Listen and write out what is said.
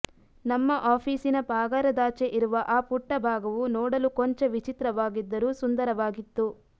ನಮ್ಮ ಆಫೀಸಿನ ಪಾಗಾರದಾಚೆ ಇರುವ ಆ ಪುಟ್ಟ ಭಾಗವು ನೋಡಲು ಕೊಂಚ ವಿಚಿತ್ರವಾಗಿದ್ದರೂ ಸುಂದರವಾಗಿತ್ತು